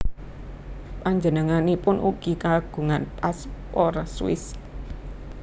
Panjenenganipun ugi kagungan paspor Swiss